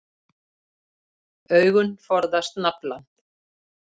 Augun forðast naflann.